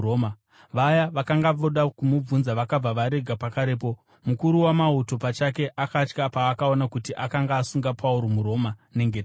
Vaya vakanga voda kumubvunza vakabva varega pakarepo. Mukuru wamauto pachake akatya paakaona kuti akanga asunga Pauro, muRoma, nengetani.